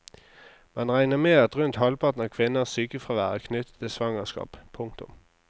Man regner med at rundt halvparten av kvinners sykefravær er knyttet til svangerskap. punktum